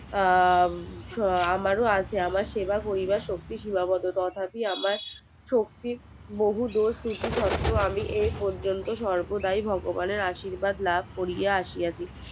আহ আমারও আছে আমার সেবা করিবার শক্তি সীমাবদ্ধ তথাপি আমার শক্তির বহুদূর আমি এই পর্যন্ত সর্বদাই ভগবানের আশীর্বাদ লাভ করিয়া আসিয়াছি